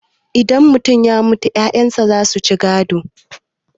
idan mutum ya mutu 'ya'yansa za su ci gado